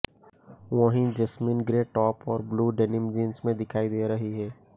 वहीं Jasmin grey top और blue denim jeans में दिखाई दे रही है